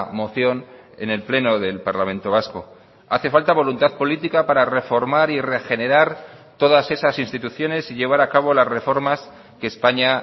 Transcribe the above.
moción en el pleno del parlamento vasco hace falta voluntad política para reformar y regenerar todas esas instituciones y llevar a cabo las reformas que españa